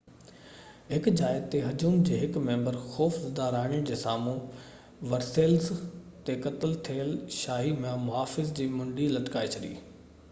هڪ جاءِ تي هجوم جي هڪ ميمبر خوف زده راڻي جي سامهون ورسيليز تي قتل ٿيل شاهي محافظ جي منڍي لٽڪائي ڇڏي